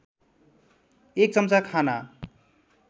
एक चम्चा खाना